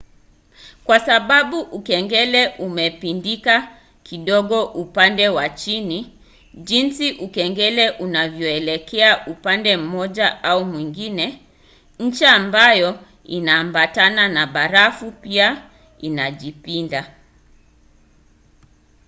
kwa sababu ukengele umepindika kidogo upande wa chini jinsi ukengele unavyoelekea upande mmoja au mwingine ncha ambayo inaambatana na barafu pia inajipinda